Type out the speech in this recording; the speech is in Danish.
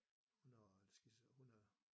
Hun har skizo hun er